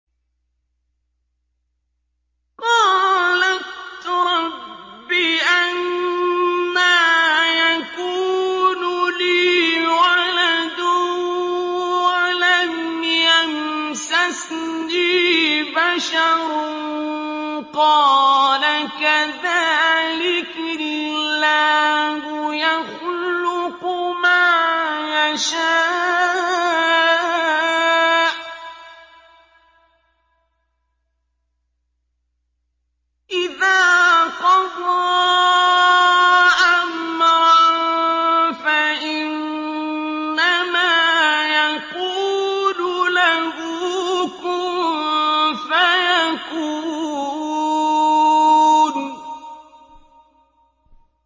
قَالَتْ رَبِّ أَنَّىٰ يَكُونُ لِي وَلَدٌ وَلَمْ يَمْسَسْنِي بَشَرٌ ۖ قَالَ كَذَٰلِكِ اللَّهُ يَخْلُقُ مَا يَشَاءُ ۚ إِذَا قَضَىٰ أَمْرًا فَإِنَّمَا يَقُولُ لَهُ كُن فَيَكُونُ